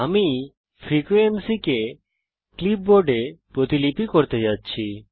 আমি ফ্রিকোয়েন্সিকে ক্লিপবোর্ড এ প্রতিলিপি করতে যাচ্ছি